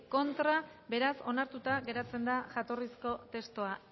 abstentzio beraz onartuta geratzen da jatorrizko testua